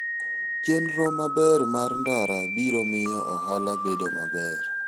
Chenro maber mar ndara biro miyo ohala bedo maber.